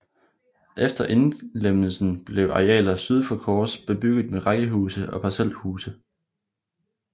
Efter indlemmelsen blev arealer syd for Kors bebygget med rækkehuse og parcelhuse